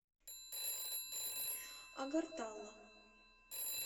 агартала